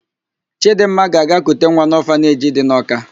Chịdịmma ga-aga kute nwa n'ọfaneji dị na Ọka.